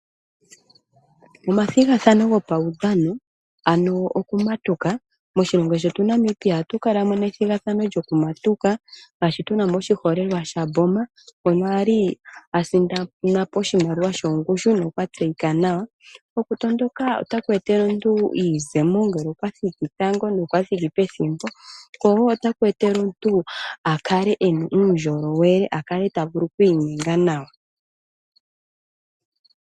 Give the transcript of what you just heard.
Omathigathano gopaudhano, ano okumatuka. Moshilongo shetu Namibia ohatu kala mo nethigathano lyokumatuka, ngaashi tu na mo oshiholelwa shaMboma, ngono a li a sindana po oshimaliwa shongushu nokwa tseyika nawa. Okutondoka otaku etele omuntu iiyemo ngele okwa thiki tango nokwa thiki pethimbo, ko wo otaku etele omuntu a kale e na uundjolowele, a kale ta vulu oku inyenga nawa.